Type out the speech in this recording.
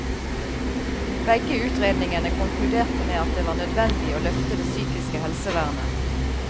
Begge utredningene konkluderte med at det var nødvendig å løfte det psykiske helsevernet.